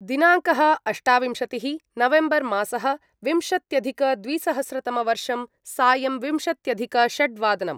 दिनाङ्कः अष्टाविंशतिः नवेम्बर्मासः विंशत्यधिकद्विसहस्रतमवर्षं सायम् विंशत्यधिकषड्वादनम्